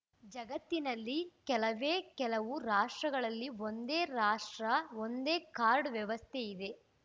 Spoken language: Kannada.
ಜಗತ್ತಿನಲ್ಲಿ ಕೆಲವೇ ಕೆಲವು ರಾಷ್ಟ್ರಗಳಲ್ಲಿ ಒಂದೇ ರಾಷ್ಟ್ರ ಒಂದೇ ಕಾರ್ಡ್ ವ್ಯವಸ್ಥೆಯಿದೆ